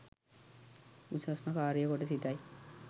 උසස්ම කාරිය කොට සිතයි